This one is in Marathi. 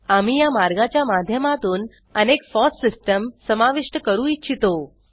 आम्ही या मार्गाच्या माध्यमातून अनेक फॉस सिस्टम समाविष्ट करू इच्छितो